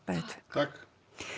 takk